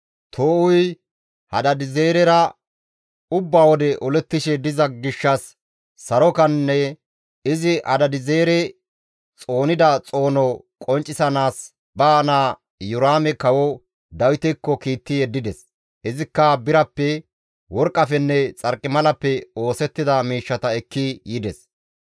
Too7uyi Hadaadi7eezerera ubba wode olettishe diza gishshas sarokanne izi Hadaadi7eezere xoonida xoono qonccisanaas ba naa Iyoraame kawo Dawitekko kiitti yeddides; izikka birappe, worqqafenne xarqimalappe oosettida miishshata ekki yides.